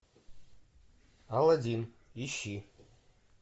аладдин ищи